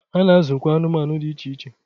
Ha na azụkwụ anụmanụ dị iche iche.